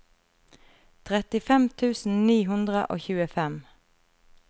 trettifem tusen ni hundre og tjuefem